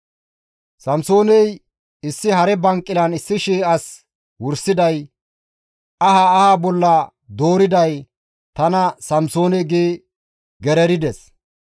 Samsooney, «Issi hare banqilan 1,000 as wursiday, aha aha bolla dooriday tana Samsoone» gi gererides.